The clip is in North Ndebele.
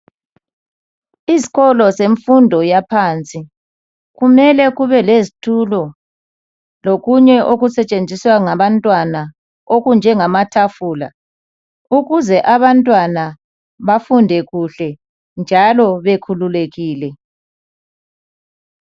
Izikolo zemfundo yaphansi kumele kube lezitulo lokunye okusetshenziswa ngabantwana ukuze abantwana bafunde kuhle njalo bekhululekile